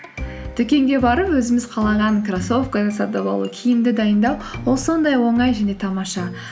дүкенге барып өзіміз қалаған кроссовканы сатып алу киімді дайындау ол сондай оңай және тамаша